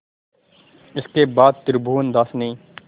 इसके बाद त्रिभुवनदास ने